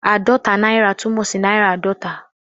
Ààdọ́ta náírà' túmọ̀ sí náírà àádọ́ta.